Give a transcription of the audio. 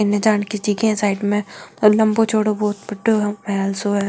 इनके जान की ज़िगा लम्बो चौड़ो बहोत बड्डो सो महल सो है।